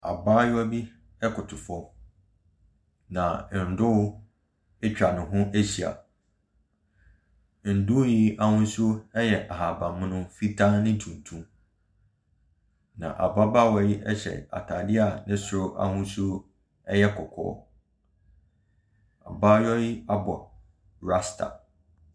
Abaayewa bi ɛkoto fam na ndoo ɛtwa ne ho ahyia. Ndoo yi ahosuo ɛyɛ ahaban mono, fitaa ne tuntum. Na ababaawa yi hyɛ ataade ne soro ahosuo ɛyɛ kɔkɔɔ. Ɔbaa yi abɔ rasta.